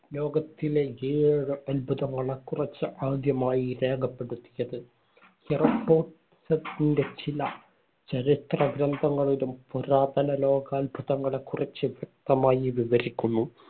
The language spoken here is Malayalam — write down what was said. ലോകത്തിലെ ഏഴ് അത്ഭുതങ്ങളെക്കുറിച്ച് ആദ്യമായി രേഖപ്പെടുത്തിയത്. ഹെറോ ഡോട്ടസിന്‍റെ ചില ചരിത്ര ഗ്രന്ഥങ്ങളിലും പുരാതന ലോകാത്ഭുതങ്ങളെക്കുറിച്ച് വ്യക്തമായി വിവരിക്കുന്നു.